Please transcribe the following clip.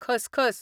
खसखस